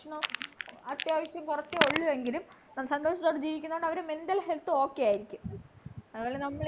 ഭക്ഷണം അത്യാവശ്യം കൊറച്ചേ ഉള്ളു എങ്കിലും സന്തോഷത്തോടെ ജീവിക്കുന്നകൊണ്ട് അവരുടെ mental health okay ആയിരിക്കും അതുപോലെ നമ്മളീ